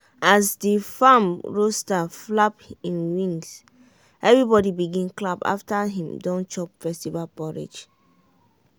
as the farm rooster flap him wings everybody begin clap after him don chop festival porridge.